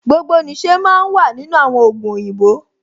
Gbogbo nìṣe máa ń wà nínú àwọn ògùn òyìnbó